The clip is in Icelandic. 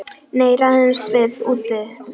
Nei, ræðumst við úti, sagði Daði.